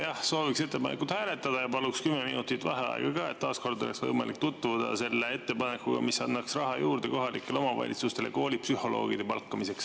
Jah, sooviks ettepanekut hääletada ja palun ka 10 minutit vaheaega, et taas kord oleks võimalik tutvuda selle ettepanekuga, mis annaks raha juurde kohalikele omavalitsustele koolipsühholoogide palkamiseks.